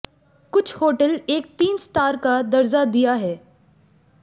कुछ होटल एक तीन स्टार का दर्जा दिया है